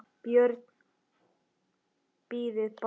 BJÖRN: Bíðið bara!